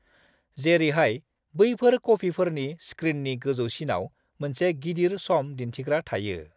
जेरैहाय बैफोर कफिफोरनि स्क्रिननि गोजौसिनाव मोनसे गिदिर सम दिन्थिग्रा थायो।